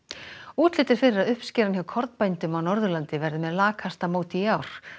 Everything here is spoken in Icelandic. útlit er fyrir að uppskeran hjá kornbændum á Norðurlandi verði með lakasta móti í ár